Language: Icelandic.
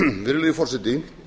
virðulegi forseti